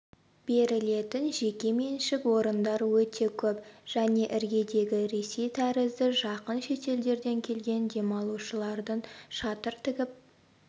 берілетін жекеменшік орындар өте көп және іргедегі ресей тәрізді жақын шетелдерден келген демалушылардың шатыр тігіп